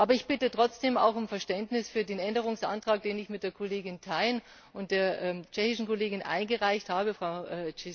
Aber ich bitte trotzdem doch auch um Verständnis für den Änderungsantrag, den ich mit der Kollegin Thein und der tschechischen Kollegin eingereicht habe, Frau Češková.